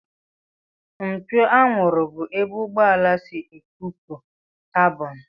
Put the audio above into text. Mpio anwụrụ bụ ebe ụgbọala si ekupu kabọn